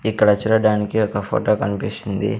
ఇక్కడ చూడడానికి ఒక ఫోటో కన్పిస్తుంది.